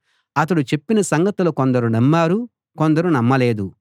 అతడు చెప్పిన సంగతులు కొందరు నమ్మారు కొందరు నమ్మలేదు